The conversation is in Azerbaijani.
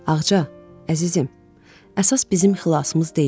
Ağca, əzizim, əsas bizim xilasımız deyil.